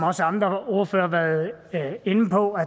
også andre ordførere har været inde på at